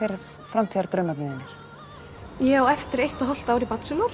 framtíðardraumarnir þínir ég á eftir eitt og hálft ár í